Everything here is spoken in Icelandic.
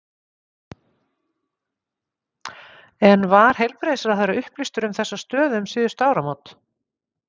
En var heilbrigðisráðherra upplýstur um þessa stöðu um síðustu áramót?